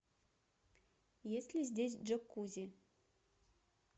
есть ли здесь джакузи